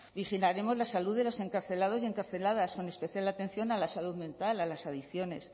vigilaremos la salud de los encarcelados y encarceladas con especial atención a la salud mental a las adicciones